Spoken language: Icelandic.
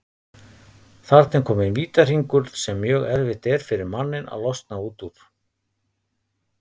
Þarna er kominn vítahringur sem mjög erfitt er fyrir manninn að losna út úr.